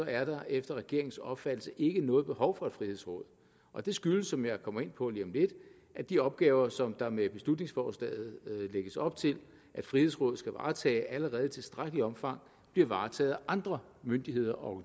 er der efter regeringens opfattelse ikke noget behov for et frihedsråd og det skyldes som jeg kommer ind på lige om lidt at de opgaver som der med beslutningsforslaget lægges op til at frihedsrådet skal varetage allerede i tilstrækkeligt omfang bliver varetaget af andre myndigheder og